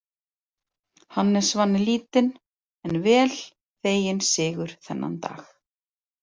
Hannes vann lítinn en vel þeginn sigur þennan dag.